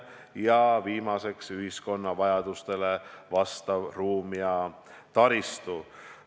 Ning viimaseks, ühiskonna vajadustele vastav ruum ja taristu.